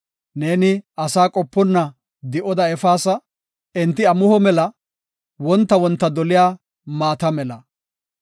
Neeni asaa qoponna di7oda efaasa; enti amuho mela; wonta wonta doliya maata mela.